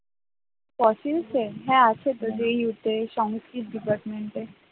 Fossils এর হ্যাঁ আছে তো যেই হচ্ছে সংস্কৃত department ।